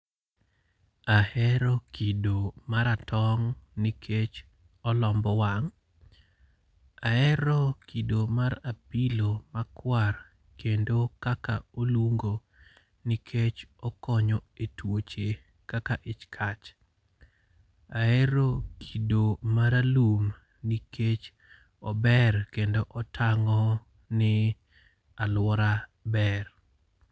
Ahero kido maratong', nikech olombo wang'. Ahero kido mar apilo makwar kendo kaka olungo nikech okonyo e twoche kaka ich kach. Ahero kido maralum nikech ober kendo otang'o ni alwora ber.